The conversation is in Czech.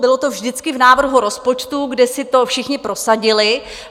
Bylo to vždycky v návrhu rozpočtu, kde si to všichni prosadili.